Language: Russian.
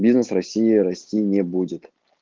бизнес россии расти не будет